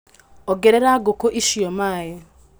Ongerera ngũkũ icio maĩ.